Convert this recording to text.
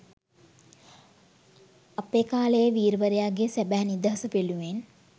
අපේ කාලයේ වීරවරයාගේ සැබෑ නිදහස වෙනුවෙන්